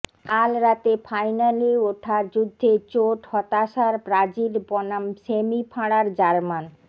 কাল রাতে ফাইনালে ওঠার যুদ্ধে চোট হতাশার ব্রাজিল বনাম সেমি ফাঁড়ার জার্মান